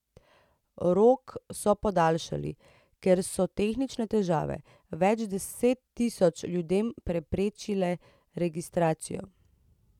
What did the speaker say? Rok so podaljšali, ker so tehnične težave več deset tisoč ljudem preprečile registracijo.